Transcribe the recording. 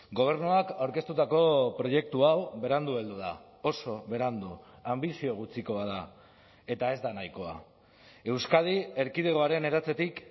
gobernuak aurkeztutako proiektu hau berandu heldu da oso berandu anbizio gutxikoa da eta ez da nahikoa euskadi erkidegoaren eratzetik